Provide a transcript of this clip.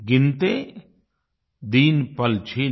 गिनते दिन पलछिन